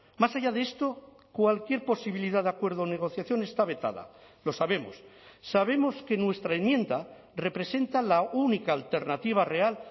más allá de esto cualquier posibilidad de acuerdo o negociación está vetada lo sabemos sabemos que nuestra enmienda representa la única alternativa real